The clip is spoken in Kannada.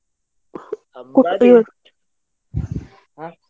. ಹೂ ಹಬ್ಬ, ಹಾ.